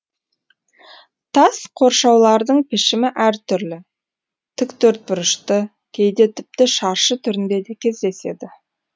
тас қоршаулардың пішімі әр түрлі тіктөртбұрышты кейде тіпті шаршы түрінде де кездеседі